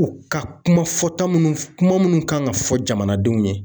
U ka kuma fɔta minnu kuma minnu kan ka fɔ jamanadenw ye.